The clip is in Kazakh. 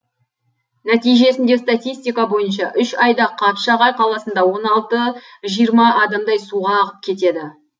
нәтижесінде статистика бойынша үш айда қапшағай қаласында он алты жиырма адамдай суға ағып кетеді